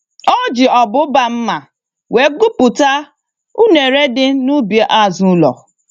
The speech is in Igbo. Oji ọbụba mma wee gbupụta unere dị n'ubi azụ ụlọ.